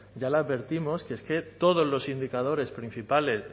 ya le advertimos que es que todos los indicadores principales